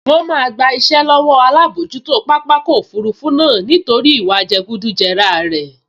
Wọ́n máa gba iṣẹ́ lọ́wọ́ alábojútó pápákọ̀ òfurufú náà nítorí ìwà jẹgúdújẹrá rẹ̀